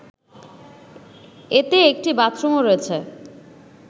এতে একটি বাথরুমও রয়েছে